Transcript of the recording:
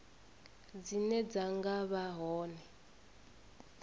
dzine dza nga vha hone